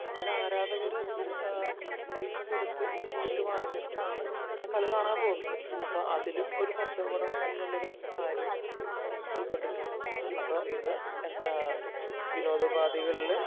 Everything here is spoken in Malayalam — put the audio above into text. അതിന് ആരാധകര് അതിനെ പൈസ കൊടുത്ത് ചീട്ട് വാങ്ങിച്ചിട്ടാണ് കളി കാണാൻ പോകുന്നത്. അപ്പോ അതിലും കച്ചവടം എന്നുള്ള ഒരു കാര്യം ഉൾപ്പെട്ടിട്ടുണ്ട് . അപ്പോ ഇന്ന് വിനോദ ഉപാധികളില്